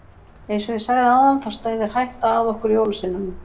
Eins og ég sagði áðan þá steðjar hætta að okkur jólasveinunum.